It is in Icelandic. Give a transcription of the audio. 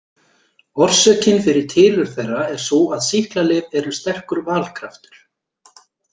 Orsökin fyrir tilurð þeirra er sú að sýklalyf eru sterkur valkraftur.